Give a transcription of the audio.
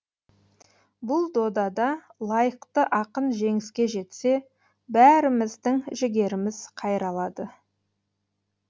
бұл додада лайықты ақын жеңіске жетсе бәріміздің жігеріміз қайралады